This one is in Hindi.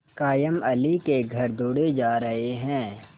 कायमअली के घर दौड़े जा रहे हैं